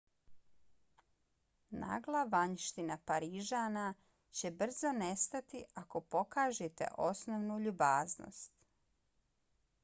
nagla vanjština parižana će brzo nestati ako pokažete osnovnu ljubaznost